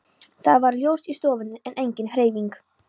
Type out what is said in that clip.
Það var ljós í stofunni, en engin hreyfing.